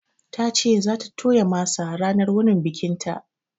Ta ce za ta toya masa ranar wunin bikinta